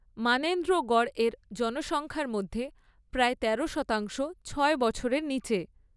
মানেন্দ্রগড় এর জনসংখ্যার মধ্যে প্রায় তেরো শতাংশ ছয় বছরের নিচে